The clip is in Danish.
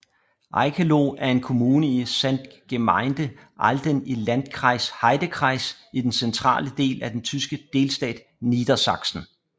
Eickeloh er en kommune i Samtgemeinde Ahlden i Landkreis Heidekreis i den centrale del af den tyske delstat Niedersachsen